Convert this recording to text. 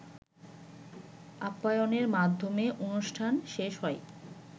আপ্পায়নের মাধ্যমে অনুষ্ঠান শেষ হয়